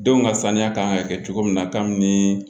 Denw ka saniya kan ka kɛ cogo min na kabini